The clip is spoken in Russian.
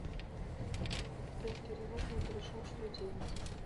сбер перевод не пришел что делать